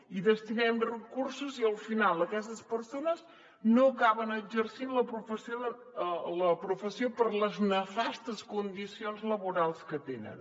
hi destinem recursos i al final aquestes persones no acaben exercint la professió per les nefastes condicions laborals que tenen